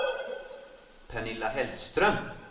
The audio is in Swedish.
Pernilla Hellström